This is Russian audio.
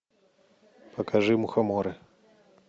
покажи мухоморы